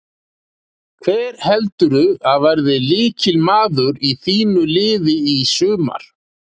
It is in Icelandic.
Hver heldurðu að verði lykilmaður í þínu liði í sumar?